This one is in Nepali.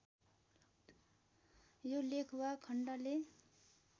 यो लेख वा खण्डले